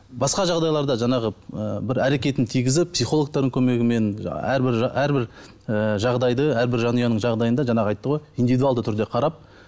басқа жағдайларда жаңағы ы бір әрекетін тигізіп психологтардың көмегімен әрбір әрбір ы жағдайды әрбір жанұяның жағдайында жаңағы айтты ғой индивидуалды түрде қарап